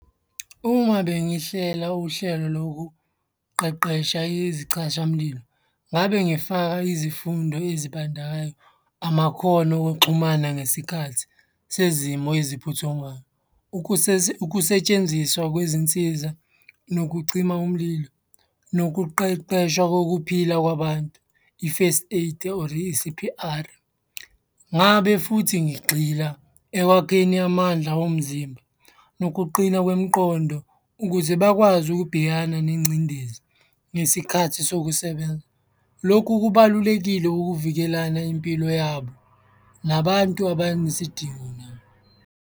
Uma bengihlela uhlelo lokuqeqesha izicashamlilo, ngabe ngifaka izifundo ezibandakanya amakhono okuxhumana ngesikhathi sezimo eziphuthumayo. Ukusetshenziswa kwezinsiza nokucima umlilo, nokuqeqeshwa kokuphila kwabantu, i-first aid or i-C_P_R, ngabe futhi ngigxila ekwakheni amandla womzimba nokuqina kwemiqondo ukuze bakwazi ukubhekana nengcindezi ngesikhathi sokusebenza. Lokhu kubalulekile ukuvikelana impilo yabo, nabantu abanesidingo nabo.